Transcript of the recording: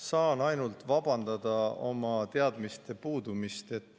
Saan ainult vabandada oma teadmiste puudumist.